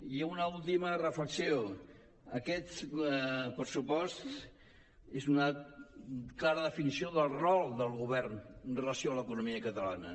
i una última reflexió aquest pressupost és una clara definició del rol del govern amb relació a l’economia catalana